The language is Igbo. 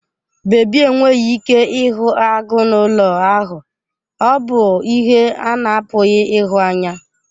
Babi enweghị ike ịhụ agụ n'ụlọ ahụ, ọ bụ ihe a na-apụghị ịhụ anya.